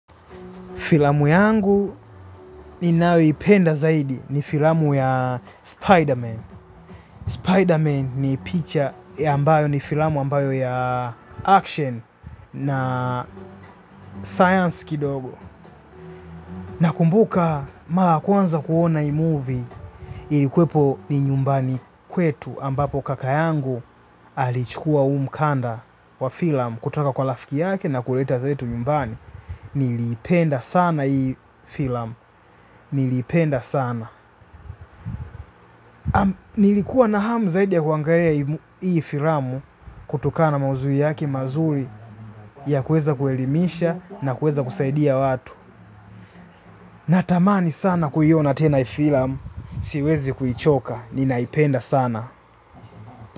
Filamu yangu ninayoipenda zaidi ni filamu ya SpiderMan. SpiderMan ni picha ambayo ni filamu ambayo ya action na science kidogo. Na kumbuka mara ya kwanza kuona hii movie ilikuwepo ni nyumbani kwetu ambapo kaka yangu alichukua huu mkanda wa filamu. Kutoka kwa rafiki yake na kuleta zetu nyumbani niliipenda sana hii filamu. Niliipenda sana. Nilikuwa na hamu zaidi ya kuangalia hii filamu kutokana na maudhui yaki mazuri ya kueza kuelimisha na kueza kusaidia watu. Natamani sana kuiona tena hii filamu, siwezi kuichoka, ninaipenda sana.